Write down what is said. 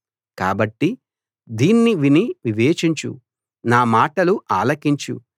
కాబట్టి దీన్ని విని వివేచించు నా మాటలు ఆలకించు